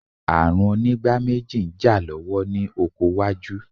Ààrùn onígbáméjì ń jà lọ́wọ́ ní oko wájú.